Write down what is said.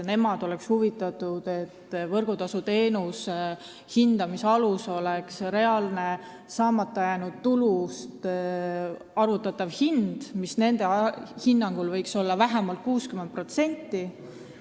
Nemad oleksid huvitatud sellest, et võrguteenustasu hindamise alus oleks saamata jäänud tulust arvutatav hind, mis nende hinnangul võiks olla vähemalt 60%.